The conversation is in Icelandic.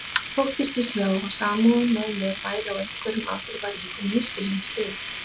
Þóttist ég sjá að samúðin með mér væri á einhverjum afdrifaríkum misskilningi byggð.